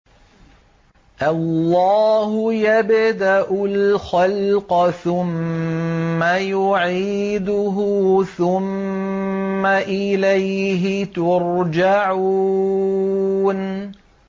اللَّهُ يَبْدَأُ الْخَلْقَ ثُمَّ يُعِيدُهُ ثُمَّ إِلَيْهِ تُرْجَعُونَ